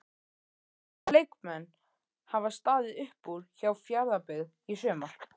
Hvaða leikmenn hafa staðið upp úr hjá Fjarðabyggð í sumar?